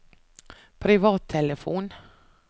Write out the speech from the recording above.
privattelefon